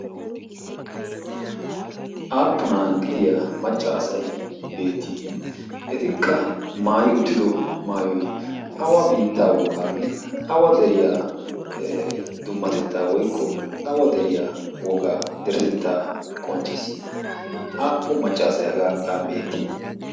aappunaa gidiya maccaasay beettii etikka maayi uttido maayoy awa biittaa wogaanne awa deriyaa dummatettaa woykko awa deriyaa wogaa deretettaa qonccissi aappun maccaasay hagan a beettii